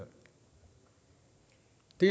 det